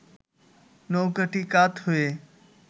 নৌকাটি কাত হয়ে